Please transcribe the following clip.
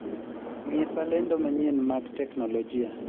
ng'isa lendo manyien mag teknolojia